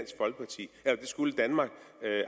skulle danmark